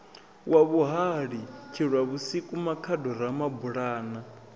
wa muhali tshilwavhusiku makhado ramabulana